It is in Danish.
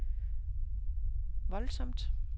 voldsomt